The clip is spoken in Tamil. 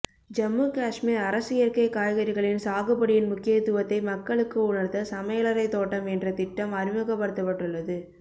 ஜம்மு காஷ்மீர் அரசு இயற்கை காய்கறிகளின் சாகுபடியின் முக்கியத்துவத்தை மக்களுக்கு உணர்த்த சமையலறை தோட்டம் என்ற திட்டம் அறிமுகப்படுத்தப்பட்டுள்ளது